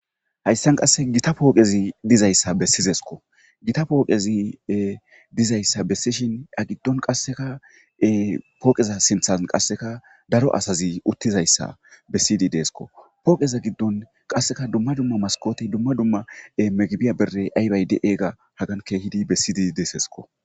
Hayssan qasse gita pooqezi dizayssa bessizesko gita pooqezi dizayssa bessishin ya giddon qasseka pooqeza sinthan qasseka daro asazi uttizayssa bessidi deesko pooqeza giddon qasseka dumma dumma maskooti dumma dumma megibiya bere aybayd eega hagankehidi bessidi deesesko